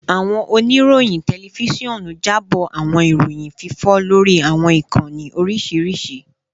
Awọn oniroyin tẹlifisiọnu jabo awọn iroyin fifọ lori awọn ikanni oriṣiriṣi